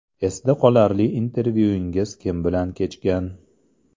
Esda qolarli intervyungiz kim bilan kechgan?